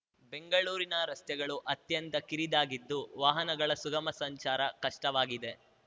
ಬೆಂಗಳೂರಿನ ರಸ್ತೆಗಳು ಅತ್ಯಂತ ಕಿರಿದಾಗಿದ್ದು ವಾಹನಗಳ ಸುಗಮ ಸಂಚಾರ ಕಷ್ಟವಾಗಿದೆ